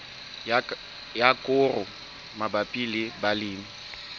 ya koro mabapi le balemi